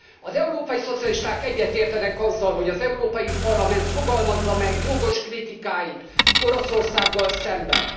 Az európai szocialisták egyetértenek azzal, hogy az Európai Parlament fogalmazza meg jogos kritikáit Oroszországgal szemben.